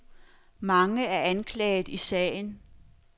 Mange er anklaget i sagen.